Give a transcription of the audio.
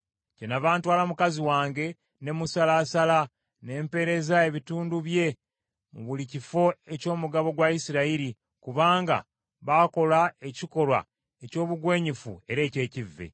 Kyennava ntwala mukazi wange ne musalaasala, ne mpeereza ebitundu bye mu buli kifo eky’omugabo gwa Isirayiri, kubanga baakola ekikolwa eky’obugwenyufu era eky’ekivve.